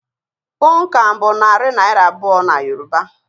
Puunkan bụ Naira 200 na Yoruba